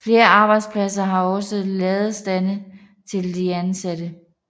Flere arbejdspladser har også ladestandere til de ansatte